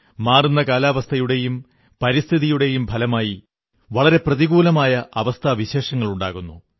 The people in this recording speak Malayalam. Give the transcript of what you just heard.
മാറുന്ന കാലാവസ്ഥയുടേയും പരിസ്ഥിതിയുടെയും ഫലമായി വളരെ പ്രതികൂലമായ അവസ്ഥാവിശേഷങ്ങളുണ്ടാകുന്നു